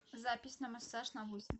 запись на массаж на восемь